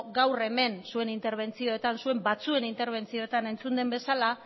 gaur hemen zuen batzuen interbentzioetan entzun den bezala